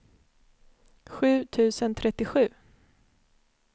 sju tusen trettiosju